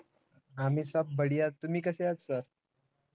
आम्ही सब बढिया, तुम्ही कसे आहात sir